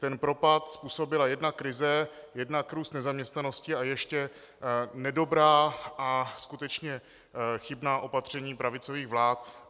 Ten propad způsobila jednak krize, jednak růst nezaměstnanosti a ještě nedobrá a skutečně chybná opatření pravicových vlád.